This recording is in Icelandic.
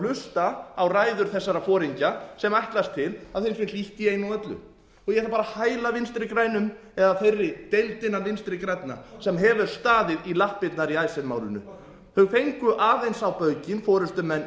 hlusta á ræður þessara foringja sem ætlast til að þeim sé fylgt í einu og öllu ég ætla bara að hæla vinstri grænum eða þeirri deild innan vinstri grænna sem hefur staðið í lappirnar í icesave málinu þau fengu aðeins á baukinn forustumenn